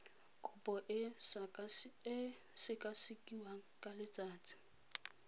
kopo e sekasekiwa ka letsatsi